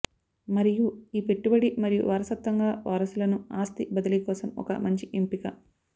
మరియు ఈ పెట్టుబడి మరియు వారసత్వంగా వారసులను ఆస్తి బదిలీ కోసం ఒక మంచి ఎంపిక